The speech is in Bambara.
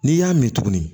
N'i y'a min tugun